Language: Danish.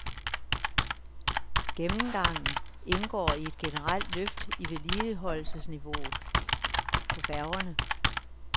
Gennemgangen indgår i et generelt løft i vedligeholdelsesniveauet på færgerne.